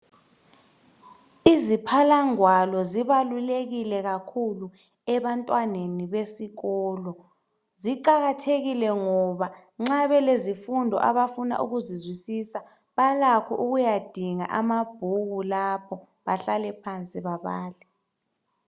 Iziphalangwalo zibalulekile kakhulu ebantwaneni besikolo. Ziqakathekile ngoba nxa belezifundo abafuna ukuzizwisisa balakho ukuyadinga amabhuku lapho bahlale phansi babale.